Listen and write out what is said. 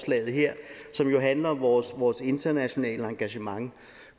her som jo handler om vores vores internationale engagement